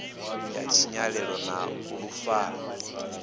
ya tshinyalelo na fulo ḽa